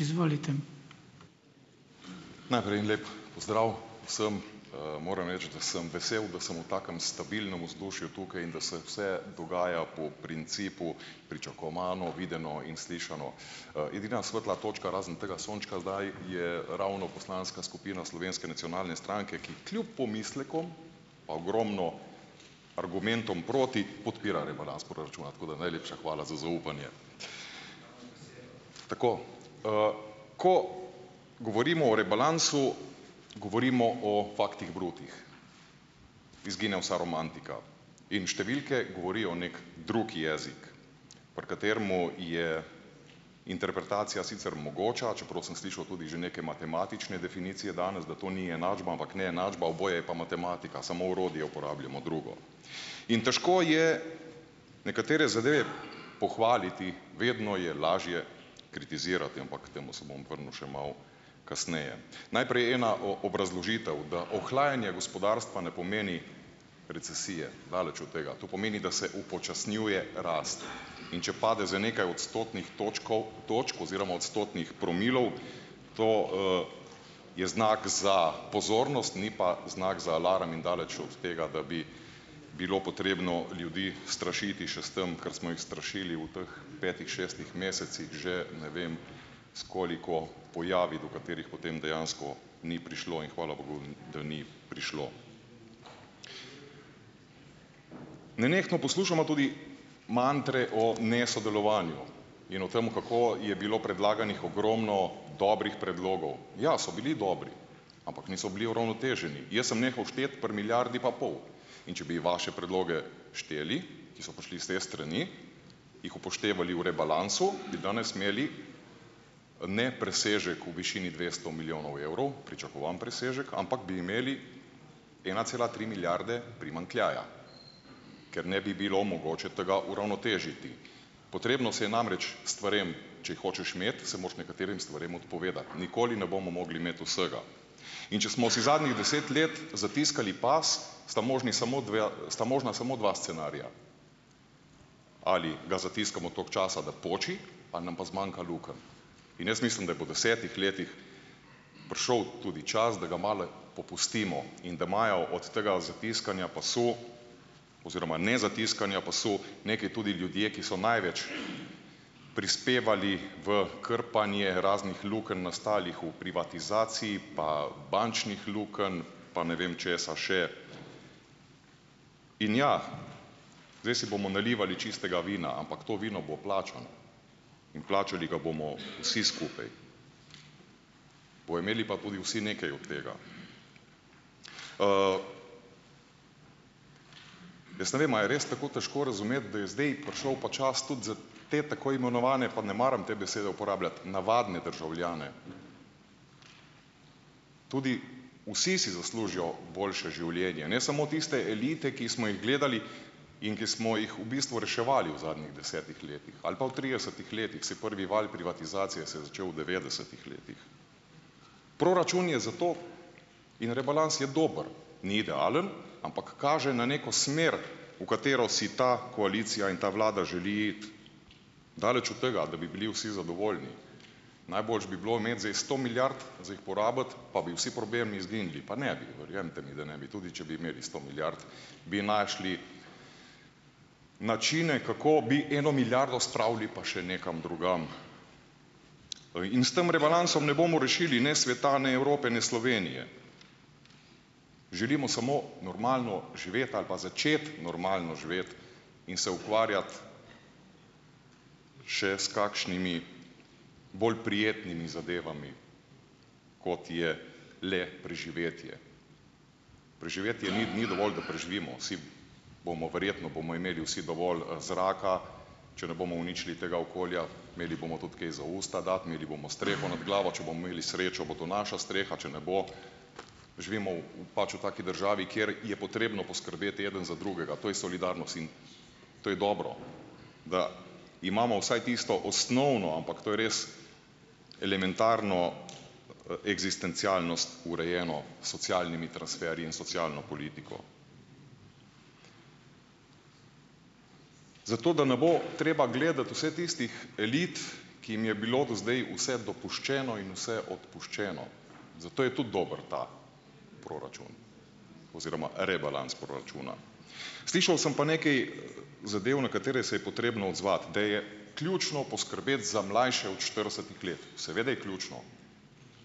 Izvolite. Najprej en lep pozdrav vsem! Moram reči, da sem vesel, da sem v takem stabilnem vzdušju tukaj in da se vse dogaja po principu pričakovano, videno in slišano. Edina svetla točka, razen tega sončka zdaj, je ravno poslanska skupina Slovenske nacionalne stranke, ki kljub pomislekom pa ogromno argumentom proti podpira rebalans proračuna, tako najlepša hvala za zaupanje. Tako. Ko govorimo o rebalansu, govorimo o faktih brutih, izgine vsa romantika. In številke govorijo neki drugi jezik, pri katerem je interpretacija sicer mogoča, čeprav sem slišal tudi že neke matematične definicije danes, da to ni enačba, ampak neenačba, oboje je pa matematika, samo orodje uporabljamo drugo. In težko je nekatere zadeve pohvaliti, vedno je lažje kritizirati, ampak k temu se bom vrnil še malo kasneje. Najprej ena obrazložitev, da ohlajanje gospodarstva ne pomeni recesije, daleč od tega. To pomeni, da se upočasnjuje rast. In če pade za nekaj odstotnih točkov, točk oziroma odstotnih promilov, to, je znak za pozornost, ni pa znak za alarm in daleč od tega, da bi bilo potrebno ljudi strašiti še s tem, kar smo jih strašili v teh petih, šestih mesecih že ne vem s koliko pojavi, do katerih potem dejansko ni prišlo, in hvala bogu, da ni prišlo. Nenehno poslušamo tudi mantre o nesodelovanju in o tem, kako je bilo predlaganih ogromno dobrih predlogov. Ja, so bili dobri, ampak niso bili uravnoteženi. Jaz sem nehal šteti pri milijardi pa pol. In če bi vaše predloge šteli, ki so prišli s te strani, jih upoštevali v rebalansu, bi danes imeli ne presežek v višini dvesto milijonov evrov, pričakovan presežek, ampak bi imeli ena cela tri milijarde primanjkljaja, ker ne bi bilo mogoče tega uravnotežiti. Potrebno se je namreč stvarem, če jih hočeš imeti, se moraš nekaterim stvarem odpovedati, nikoli ne bomo mogli imeti vsega. In če smo si zadnjih deset let zatiskali pas, sta možni samo dve, sta možna samo dva scenarija ali ga zatiskamo toliko časa, da poči, ali nam pa zmanjka lukenj. In jaz mislim, da je po desetih letih prišel tudi čas, da ga malo popustimo in da imajo od tega zatiskanja pasu oziroma nezatiskanja pasu nekaj tudi ljudje, ki so največ prispevali v krpanje raznih lukenj, nastalih v privatizaciji, pa bančnih lukenj pa ne vem česa še. In ja, zdaj si bomo nalivali čistega vina, ampak to vino bo plačano in plačali ga bomo vsi skupaj, bojo imeli pa tudi vsi nekaj od tega. Jaz ne vem, a je res tako težko razumeti, da je zdaj prišel pa čas tudi te tako imenovane, pa ne maram te besede uporabljati, navadne državljane. Tudi vsi si zaslužijo boljše življenje, ne samo tiste elite, ki smo jih gledali in ki smo jih v bistvu reševali v zadnjih desetih letih ali pa v tridesetih letih, saj prvi val privatizacije se je začel v devetdesetih letih. Proračun je zato, je rebalans je dober, ni idealen, ampak kaže na neko smer, v katero si ta koalicija in ta vlada želi iti. Daleč od tega, da bi bili vsi zadovoljni. Najboljše bi bilo imeti zdaj sto milijard za jih porabiti, pa bi vsi problemi izginili. Pa ne bi, verjemite mi, da ne bi; tudi če bi imeli sto milijard, bi našli načine, kako bi eno milijardo spravili pa še nekam drugam. In s tem rebalansom ne bomo rešili ne sveta ne Evrope ne Slovenije. Želimo samo normalno živeti ali pa začeti normalno živeti in se ukvarjati še s kakšnimi bolj prijetnimi zadevami, kot je le preživetje. Preživetje ni ni dovolj, da preživimo vsi, bomo verjetno bomo imeli vsi dovolj, zraka, če ne bomo uničili tega okolja, imeli bomo tudi kaj za v usta dati, imeli bomo streho nad glavo, če bomo imeli srečo, bo to naša streha, če ne bo, živimo v, v pač v taki državi, kjer je potrebno poskrbeti eden za drugega, to je In to je dobro, da imamo vsaj tisto osnovno, ampak to je res elementarno, eksistencialnost urejeno s socialnimi transferji in socialno politiko. Zato da ne bo treba gledati vseh tistih elit, ki jim je bilo do zdaj vse dopuščeno in vse odpuščeno, zato je tudi dober ta proračun. Oziroma rebalans proračuna. Slišal sem pa nekaj zadev, na katere se je potrebno odzvati. Da je ključno poskrbeti za mlajše od štiridesetih let. Seveda je ključno.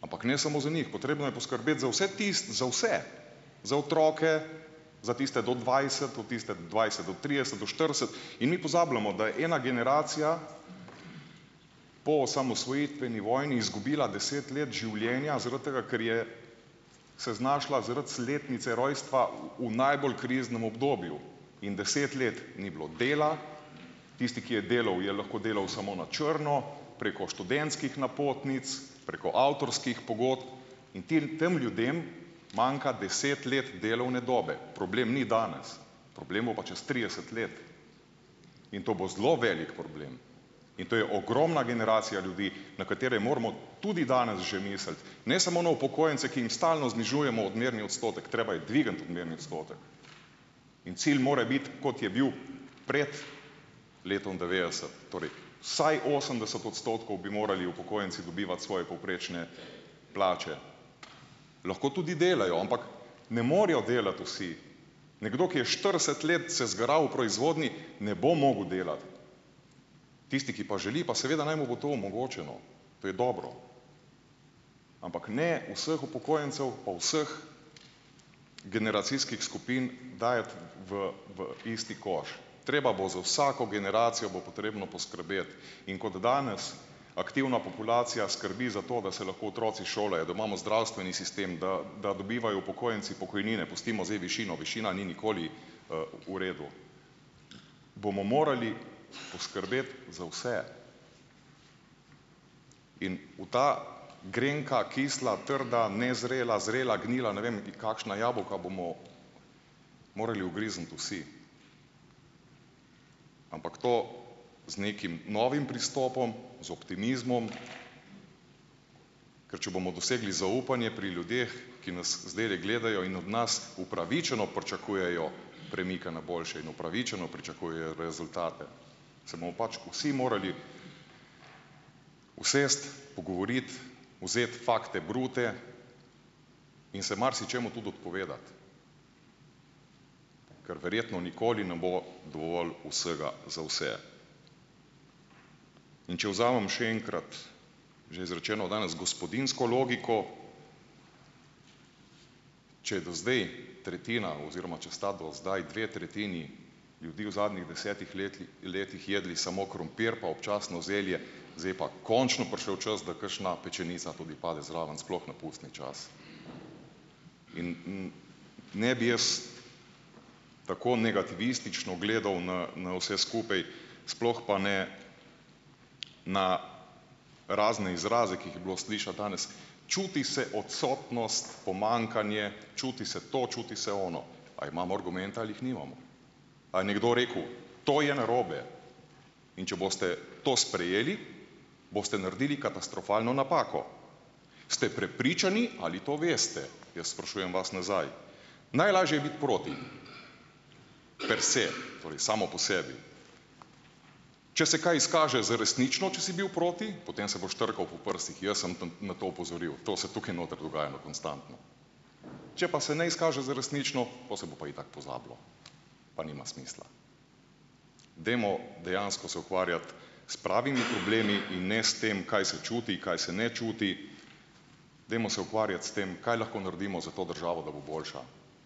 Ampak ne samo za njih. Potrebno je poskrbeti za vse za vse! Za otroke, za tiste do dvajset, tudi tiste dvajset do trideset, do štirideset, in mi pozabljamo, da je ena generacija po osamosvojitveni vojni izgubila deset let življenja zaradi tega, ker je se znašla zaradi letnice rojstva v najbolj kriznem obdobju. In deset let ni bilo dela, tisti, ki je delal, je lahko delal samo na črno, preko študentskih napotnic, preko avtorskih pogodb in ti tem ljudem manjka deset let delovne dobe. Problem ni danes. Problem bo pa čez trideset let. In to bo zelo velik problem. In to je ogromna generacija ljudi, na katere moramo tudi danes že misliti. Ne samo na upokojence, ki jim stalno znižujemo odmerni odstotek. Treba je dvigniti odmerni odstotek. In cilj mora biti, kot je bil prej letom devetdeset. Torej vsaj osemdeset odstotkov bi morali upokojenci dobivati svoje povprečne plače. Lahko tudi delajo. Ampak ne morejo delati vsi. Nekdo, ki je štirideset let se zgaral v proizvodnji, ne bo mogel Tisti, ki pa želi, pa seveda naj mu bo to omogočeno. To je dobro. Ampak ne vseh upokojencev pa vseh generacijskih skupin dajati v v isti koš. Treba bo, za vsako generacijo bo potrebno poskrbeti. In kot danes aktivna populacija skrbi za to, da se lahko otroci šolajo, da imamo zdravstveni sistem, da da dobivajo upokojenci pokojnine, pustimo zdaj višino, višina ni nikoli, v redu, bomo morali poskrbeti za vse. In v ta grenka, kisla, trda, nezrela, zrela, gnila, ne vem, kakšna jabolka bomo morali ugrizniti vsi. Ampak to z nekim novim pristopom. Z optimizmom. Ker če bomo dosegli zaupanje pri ljudeh, ki nas zdajle gledajo in od nas upravičeno pričakujejo premike na boljše in upravičeno pričakujejo rezultate. Se pač vsi morali usesti, pogovoriti, vzeti fakte brute in se marsičemu tudi odpovedati. Ker verjetno nikoli ne bo dovolj vsega za vse. In če vzamem še enkrat, že izrečeno danes gospodinjsko logiko, če do zdaj tretjina oziroma če sta do zdaj dve tretjini ljudi v zadnjih desetih letli, letih jedli samo krompir pa občasno zelje, zdaj pa končno prišel čas, da kakšna pečenica tudi pade zraven, sploh na pustni čas. In ne ne bi jaz tako negativistično gledal na, na vse skupaj, sploh pa ne na razne izraze, ki jih je bilo slišati danes. Čuti se odsotnost, pomanjkanje, čuti se to, čuti se ono. A imamo argumente ali jih nimamo? A je nekdo rekel: "To je narobe." In če boste to sprejeli, boste naredili katastrofalno napako. Ste prepričani ali to veste? Jaz sprašujem vas nazaj. Najlažje je biti proti. per se , torej samo po sebi, če se kaj izkaže za resnično, če si bil proti, potem se boš trkal po prsih, jaz sem tam na to opozoril, to se tukaj noter dogajalo konstantno. Če pa se ne izkaže za resnično, po se bo pa itak pozabilo. Pa nima smisla. Dajmo dejansko se ukvarjati s pravimi problemi in ne s tem, kaj se čuti, kaj se ne čuti. Dajmo se ukvarjati s tem, kaj lahko nardimo za to državo, da bo boljša.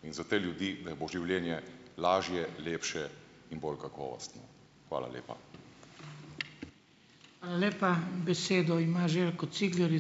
In za te ljudi, da bo življenje lažje, lepše in bolj kakovostno. Hvala lepa. lepa, besedo ima Željko Cigler, ...